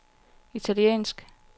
italiensk